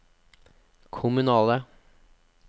kommunale